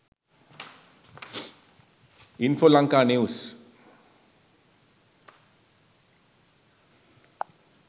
infolanka news